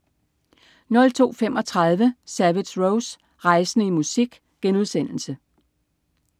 02.35 Savage Rose. Rejsende i musik*